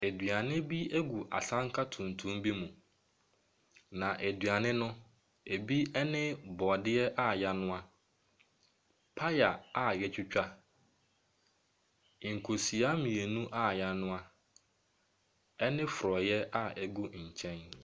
Adwuane bi gu asanka tuntum bi mu, na aduane no bi ne borɔdea a wɔanoa, paya a wɔatwitwa, nkosua mmienu a wɔanoa ne forɔeɛ a ɛgu nkyɛn.